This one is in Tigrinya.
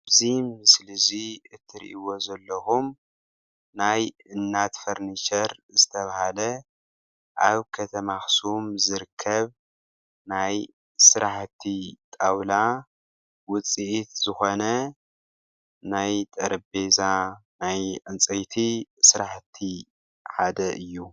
እዚ ምስሊ እዚ እትሪእዎ ዘለኩም ናይ እናት ፈርንቸር ዝተባሃለ ኣብ ከተማ ኣክሱም ዝርከብ ናይ ስራሕቲ ጣውላ ውፅኢት ዝኮነ ናይ ጠረጴዛ ናይ ዕንፀይቲ ስራሕቲ ሓደ እዩ፡፡